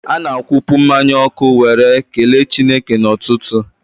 Ana-akwụpụ mmanya ọkụ were kelee Chineke n'ụtụtụ.